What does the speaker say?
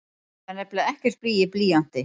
Það er nefnilega ekkert blý í blýanti!